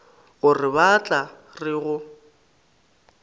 gore ba tla re go